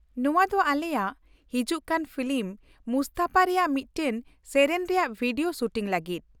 -ᱱᱚᱶᱟ ᱫᱚ ᱟᱞᱮᱭᱟᱜ ᱦᱤᱡᱩᱜ ᱠᱟᱱ ᱯᱷᱤᱞᱤᱢ 'ᱢᱩᱥᱛᱚᱯᱷᱟ' ᱨᱮᱭᱟᱜ ᱢᱤᱫᱴᱟᱝ ᱥᱮᱹᱨᱮᱹᱧ ᱨᱮᱭᱟᱜ ᱵᱷᱤᱰᱤᱭᱳ ᱥᱩᱴᱤᱝ ᱞᱟᱹᱜᱤᱫ?